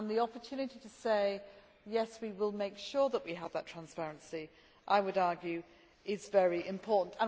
The opportunity to say that we will make sure that we have that transparency, I would argue, is very important.